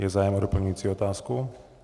Je zájem o doplňující otázku?